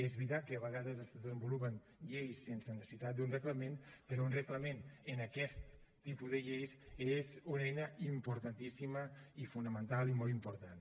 és veritat que a vegades es desenvolupen lleis sense la necessitat d’un reglament però un reglament en aquest tipus de lleis és una eina importantíssima i fonamental i molt important